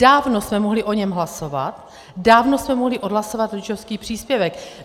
Dávno jsme mohli o něm hlasovat, dávno jsme mohli odhlasovat rodičovský příspěvek.